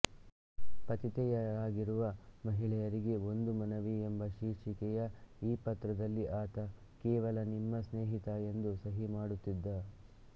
ಪತಿತೆಯರಾಗಿರುವ ಮಹಿಳೆಯರಿಗೆ ಒಂದು ಮನವಿ ಎಂಬ ಶೀರ್ಷಿಕೆಯ ಈ ಪತ್ರದಲ್ಲಿ ಆತ ಕೇವಲ ನಿಮ್ಮ ಸ್ನೇಹಿತ ಎಂದು ಸಹಿ ಮಾಡುತ್ತಿದ್ದ